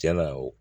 Tiɲɛna o